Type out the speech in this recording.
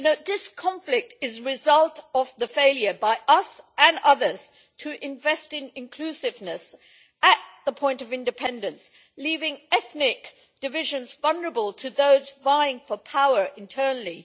This conflict is the result of the failure by us and others to invest in inclusiveness at the point of independence, leaving ethnic divisions vulnerable to those vying for power internally.